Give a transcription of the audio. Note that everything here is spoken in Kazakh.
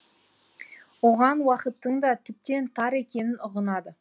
оған уақыттың да тіптен тар екенін ұғынады